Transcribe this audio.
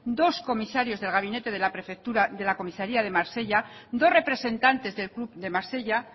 dos comisarios del gabinete de la prefectura de la comisaria de marsella dos representantes del club de marsella